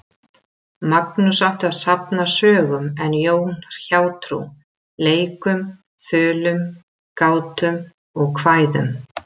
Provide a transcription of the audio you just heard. Magnús átti að safna sögum en Jón hjátrú, leikum, þulum, gátum og kvæðum.